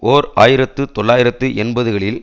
ஓர் ஆயிரத்து தொள்ளாயிரத்து எண்பதுகளில்